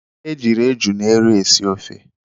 E jiiri eju na ero esi ofe.